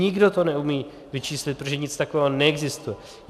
Nikdo to neumí vyčíslit, protože nic takového neexistuje.